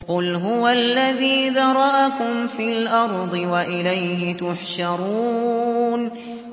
قُلْ هُوَ الَّذِي ذَرَأَكُمْ فِي الْأَرْضِ وَإِلَيْهِ تُحْشَرُونَ